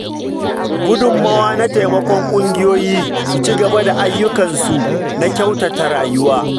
Gudummawa na taimakon kungiyoyi su ci gaba da ayyukansu na kyautata rayuwa.